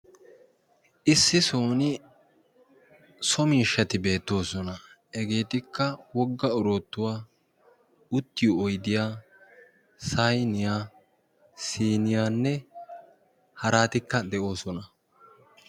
Issi sooni somiishshati beettoosona hegeetikka wogga oroottuwaa uttiyo oydiya sayniyaa siniyaanne haraatikka de'oosona.